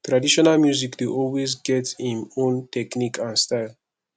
traditional music dey always get im own technique and style